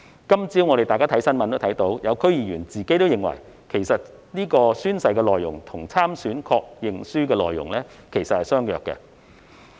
今早，我們從新聞看到，有些區議員也認為宣誓內容與參選確認書的內容相若。